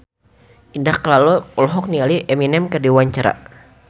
Indah Kalalo olohok ningali Eminem keur diwawancara